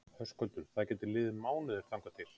Höskuldur: Það geta liðið mánuðir þangað til?